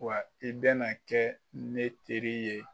Wa i bɛna na kɛ ne teri ye